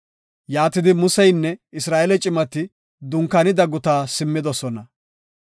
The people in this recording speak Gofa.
Yaatidi, Museynne Isra7eele cimati dunkaanida gutaa simmidosona.